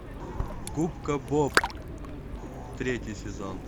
губка боб третий сезон